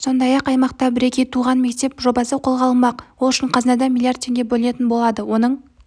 сондай-ақ аймақта бірегей туған мектеп жобасы қолға алынбақ ол үшін қазынадан млрд теңге бөлінетін болады оның